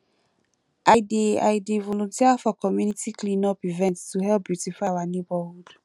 i dey i dey volunteer for community cleanup events to help beautify our neighborhood